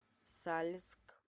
сальск